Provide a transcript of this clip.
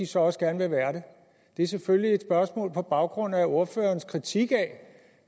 så også gerne vil være det det er selvfølgelig et spørgsmål på baggrund af ordførerens kritik af